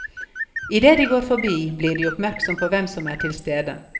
I det de går forbi, blir de oppmerksom på hvem som er til stede.